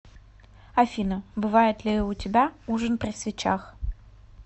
афина бывает ли у тебя ужин при свечах